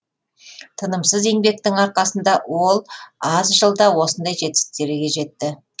тынымсыз еңбектің арқасында ол аз жылда осындай жетістіктерге жетті